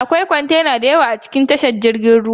Akwai kwantenoni da yawa a cikin tashar jiragen ruwa